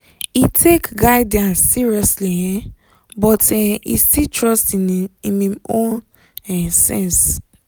e take guidance seriously um but um e still trust im im own um sense.